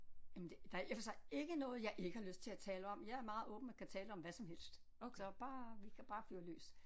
Jamen der er i og for sig ikke noget jeg ikke har lyst til at tale om jeg er meget åben og kan tale om hvad som helst så bare vi kan bare fyre løs